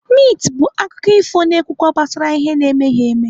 Mit bụ akụkọ ifo na-ekwukwa gbasara ihe na-emeghi eme.